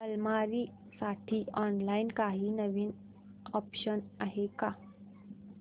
अलमारी साठी ऑनलाइन काही नवीन ऑप्शन्स आहेत का